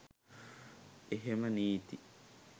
එහෙම නීති